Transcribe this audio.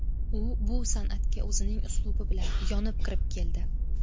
U bu san’atga o‘zining uslubi bilan, yonib kirib keldi.